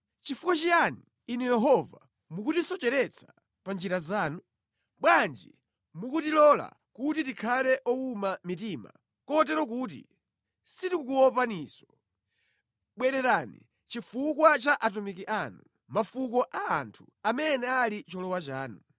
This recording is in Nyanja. Chifukwa chiyani, Inu Yehova, mukutisocheretsa pa njira zanu? Bwanji mukutilola kuti tikhale owuma mitima kotero kuti sitikukuopaninso? Bwererani chifukwa cha atumiki anu; mafuko a anthu amene ali cholowa chanu.